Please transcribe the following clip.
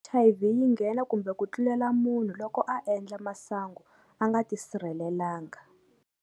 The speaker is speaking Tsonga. H_I_V yi nghena kumbe ku tlulela munhu loko a endla masangu a nga tisirhelelanga.